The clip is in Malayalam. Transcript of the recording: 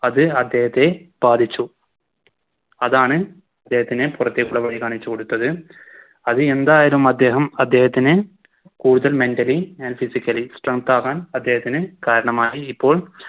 അത് അദ്ദേഹത്തെ ബാധിച്ചു അതാണ് അദ്ദേഹത്തിന് പുറത്തേക്കുള്ള വഴി കാണിച്ചു കൊടുത്തത് അത് എന്തായാലും അദ്ദേഹം അദ്ദേഹത്തിന് കൂടുതൽ Mentally and physically strength ആകാൻ അദ്ദേഹത്തിന് കാരണമായി ഇപ്പോൾ